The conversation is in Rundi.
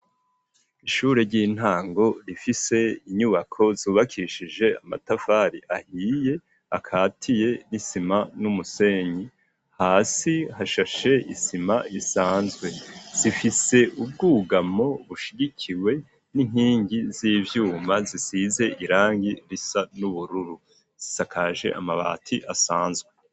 Ishure ry'intango rifise inyubako zubakishije amatavari ahiye akatiye risima n'umusenyi hasi hashashe isima risanzwe zifise ubwugamo bushigikiwe n'inkingi z'ivyuma zisize irangi risa nubururu zisakaje amabati asanzwe.